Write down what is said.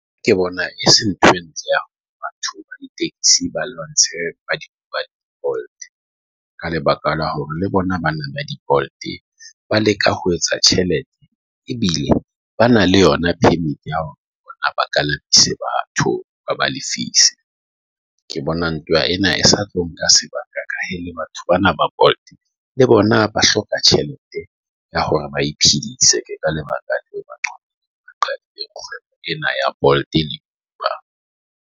Ke bona e se ntho. Entse batho ba lwantshe ka lebaka la hore le bona bana ba di called ba leka ho etsa tjhelete e bile ba na le yona Permit ea hore ba ka lapisa batho ba ba lefise ke bona ntoa ena e sa tlo nka sebaka le batho Bana ba ball le bona ba hloka tjhelete ya hore ba iphedisa ka lebaka ena ea ball e le .